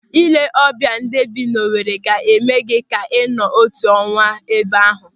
Ị lee ọbịa ndị bi n'Owere ga-eme gị ka ị nọọ otu ọnwa ebe ahụ